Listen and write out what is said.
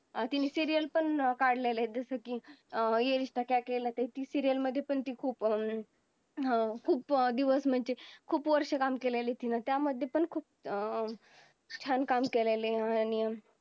अति serial पण काढलेले अं जस कि ये रिश्ता क्या केहलता ती serial मध्ये पण ती खूप हम्म खूप दिवस म्हणजे खूप वर्ष काम केले त्या मध्ये पण अं काम केलेली